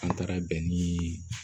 An taara bɛn niii